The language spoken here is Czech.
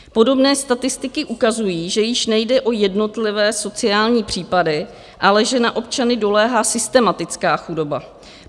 Podobné statistiky ukazují, že již nejde o jednotlivé sociální případy, ale že na občany doléhá systematická chudoba.